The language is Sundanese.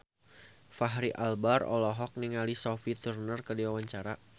Fachri Albar olohok ningali Sophie Turner keur diwawancara